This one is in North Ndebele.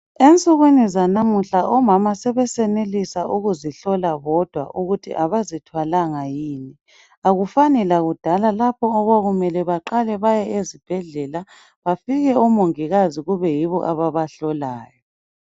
Ensukwini zanamuhla omama sebesenelisa ukuzihlola bodwa ukuthi abazithwalanga yini. Akufani lakudala lapho okwakumele baqale baye ezibhedlela bafike oMongikazi kube yibo ababa hlolayo.